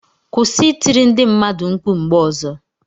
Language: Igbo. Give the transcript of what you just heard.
Kûsị I tiri ndi mmadu nkpu mgbe ozo!